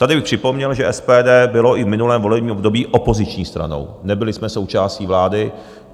Tady bych připomněl, že SPD bylo i v minulém volebním období opoziční stranou, nebyli jsme součástí vlády.